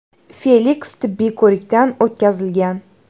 Feliks tibbiy ko‘rikdan o‘tkazilgan.